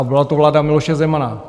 A byla to vláda Miloše Zemana.